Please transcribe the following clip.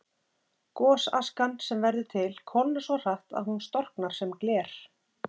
Gosaskan sem verður til kólnar svo hratt að hún storknar sem gler.